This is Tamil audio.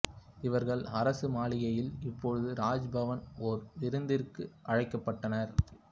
இவர்கள் அரசு மாளிகையில் இப்போது ராஜ் பவன் ஒரு விருந்துக்கு அழைக்கப்பட்டனர்